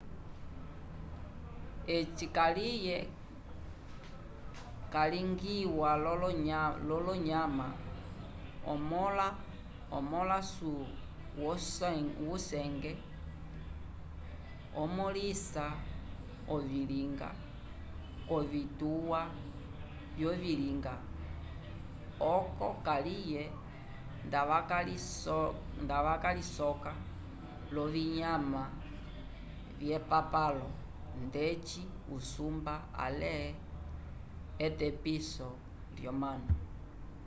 eci kaliye calingiwa l’onyama omõla wusenge omõlisa ovilinga k’ovituwa vyovilinga oco kaliye ndavakalisoka l’ovinyama vyepapalo ndeci usumba ale etepiso l’omanu